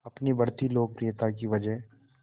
अपनी बढ़ती लोकप्रियता की वजह